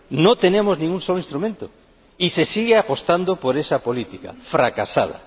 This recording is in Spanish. No tenemos ni un solo instrumento y se sigue apostando por esa política fracasada.